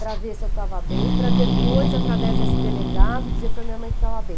para ver se eu estava bem, para depois, através desse delegado, dizer para minha mãe que estava bem.